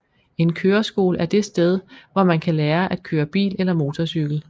En køreskole er det sted hvor man kan lære at køre bil eller motorcykel